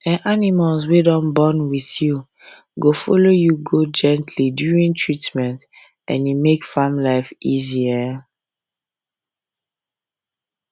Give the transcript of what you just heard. um animals um wey don bond with um you go follow you gently during treatment and e make farm life easy